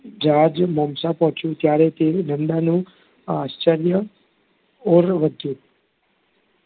જહાજ મનસા પહોચ્યું ત્યારે તે નંદાનું આશ્ચર્ય ઓર વધ્યું